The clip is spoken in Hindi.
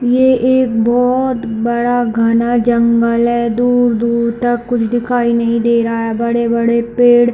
ये एक बहोत बड़ा घना जंगल है दूर-दूर तक कुछ दिखाई नहीं दे रहा है बड़े-बड़े पेड़--